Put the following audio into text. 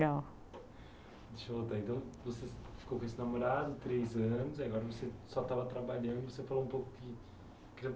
Deixa eu anotar então. Você ficou com esse namorado três anos, agora você só estava trabalhando, e você falou um pouco que